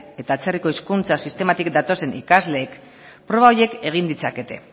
eta atzerriko hizkuntza sistematik datozen ikasleen proba horiek egin ditzakete